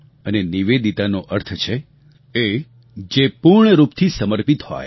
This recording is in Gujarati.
અને નિવેદિતાનો અર્થ છે એ જે પૂર્ણ રૂપથી સમર્પિત હોય